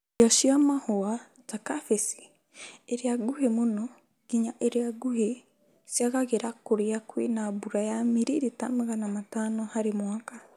Irio cia mahũa ta kabici iria nguhĩ mũno nginya iria nguhĩ ciagagĩra kũria kwĩna mbura ya miririta Magana Matano harĩ mwaka